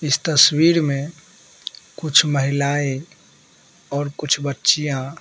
इस तस्वीर में कुछ महिलाएं और कुछ बच्चियाँ--